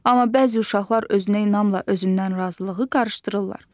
Amma bəzi uşaqlar özünə inamla özündən razılığı qarışdırırlar.